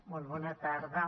molt bona tarda